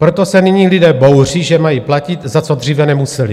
Proto se nyní lidé bouří, že mají platit, za co dříve nemuseli.